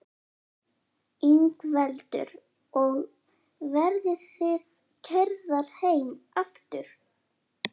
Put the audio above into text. Ingveldur: Og verðið þið keyrðar heim aftur?